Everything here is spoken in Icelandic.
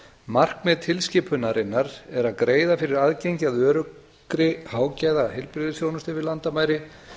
markmið tilskipunarinnar er að greiða fyrir aðgengi að öruggri hágæðaheilbrigðisþjónustu yfir landamæri